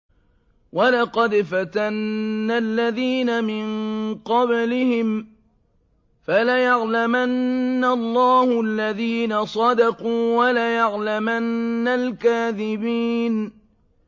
وَلَقَدْ فَتَنَّا الَّذِينَ مِن قَبْلِهِمْ ۖ فَلَيَعْلَمَنَّ اللَّهُ الَّذِينَ صَدَقُوا وَلَيَعْلَمَنَّ الْكَاذِبِينَ